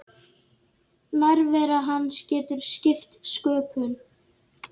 Nærvera hans getur skipt sköpum.